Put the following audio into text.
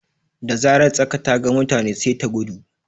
Da zarar tsaka ta ga mutane sai ta gudu.